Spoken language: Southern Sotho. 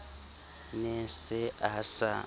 ne a se a sa